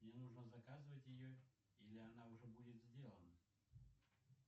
мне нужно заказывать ее или она уже будет сделана